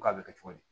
Ko a bɛ kɛ cogo di